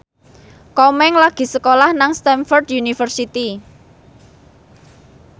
Komeng lagi sekolah nang Stamford University